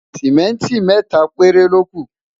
simẹnti méta péré loku